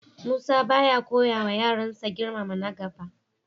Musa ba ya koyawa yaransa girmama na gaba.